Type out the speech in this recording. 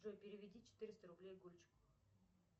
джой переведи четыреста рублей гульчику